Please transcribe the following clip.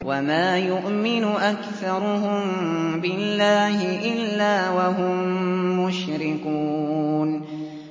وَمَا يُؤْمِنُ أَكْثَرُهُم بِاللَّهِ إِلَّا وَهُم مُّشْرِكُونَ